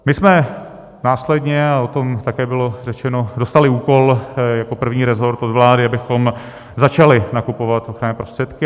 My jsme následně, a o tom také bylo řečeno, dostali úkol jako první resort od vlády, abychom začali nakupovat ochranné prostředky.